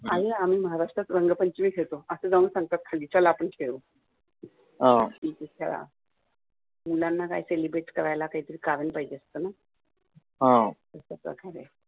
आणी आम्ही महाराष्ट्रात रंगपंचमी खेळतो आणी असं जाऊन सांगतात चला आपण खेळू ठीक आहे खेळा मुलांना काय ते celebrate करायला काही तरी कारण पाहिजे असतं नं